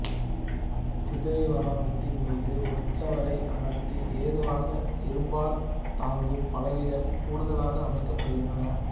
குதிரை வாகனத்தின் மீது உற்சவரை அமர்த்த ஏதுவாக இரும்பால் தாங்கு பலகைகள் கூடுதலாக அமைக்கப்படுகின்றன